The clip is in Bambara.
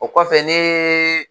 O kɔfɛ ne